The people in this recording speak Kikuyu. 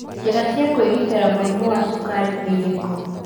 Njĩra cia kwĩgĩtĩra mũrimũ wa cukari nĩ irĩkũ?